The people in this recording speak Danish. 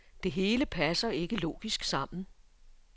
Det hele passer ikke logisk sammen.